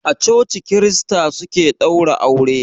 A coci krista suke ɗaura aure.